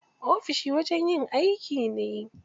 Ofishi wajen yin aiki ne.